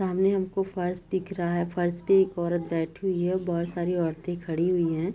सामने हमको फर्श दिख रहा है फर्श पे एक औरत बैठी हुई है बहुत सारी औरतें खड़ी हुई हैं।